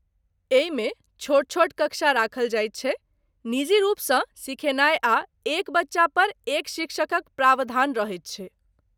एहिमे छोट छोट कक्षा राखल जाइत छै, निजी रुपसँ सिखेनाय आ एक बच्चा पर एक शिक्षकक प्रावधान रहैत छै।